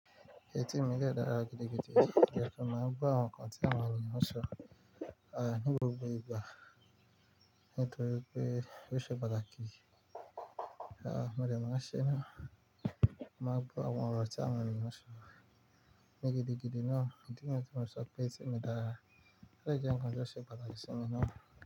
Etí mi dẹ dára gidigidi. O jẹ ki n máa gbo àwọn nnkàn tí awọn eniyan sọ ni gbogbo igba, nítorí pé ó ṣe patakí. Àá, mo dẹ̀ mo n ṣe náà. Mo máa ń gbọ àwọn ọ̀rọ̀ tí àwọn ènìyàn sọ. Ní gidigidi náà, ìdí niyẹ ti mo fi sope ẹtí mi dára. Ó dẹ je nnkan ti o ṣe pàtàki sí mi náà.